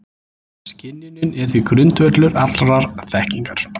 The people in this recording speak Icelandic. skynjunin er því grundvöllur allrar þekkingar